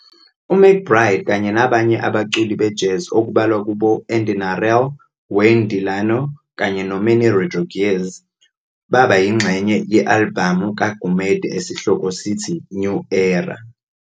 UMcBride kanye nabanye abaculi be jazz okubalwa kubo Andy Narell, Wayne DeLano kanye no Manny Rodriquez baba yinxenye ye-alibhamu kaGumede esihloko sithi "New Era".